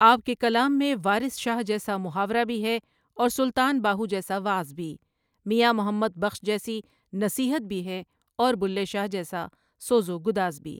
آپؒ کے کلام میں وارث شاہ جیسا محاورہ بھی ہے اورسلطان باہوؒ جیسا وعظ بھی میاں محمد بخش جیسی نصیحت بھی ہے اور بلھے شاہ جیسا سوز و گداز بھی۔